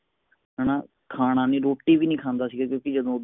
ਹੁੰਦਾ ਸੀ ਉਹ ਜਦੋ